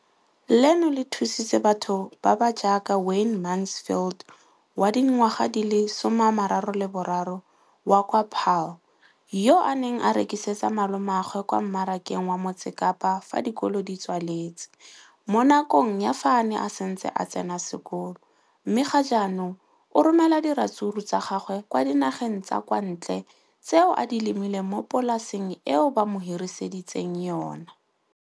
leno le thusitse batho ba ba jaaka Wayne Mansfield, 33, wa kwa Paarl, yo a neng a rekisetsa malomagwe kwa Marakeng wa Motsekapa fa dikolo di tswaletse, mo nakong ya fa a ne a santse a tsena sekolo, mme ga jaanong o romela diratsuru tsa gagwe kwa dinageng tsa kwa ntle tseo a di lemileng mo polaseng eo ba mo hiriseditseng yona.